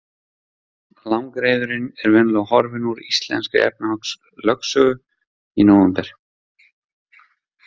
Langreyðurin er venjulega horfin úr íslenskri efnahagslögsögu í nóvember.